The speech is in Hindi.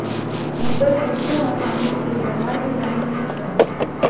ऊपर सूत्रों आसानी से व्यवहार में लाया जा सकता है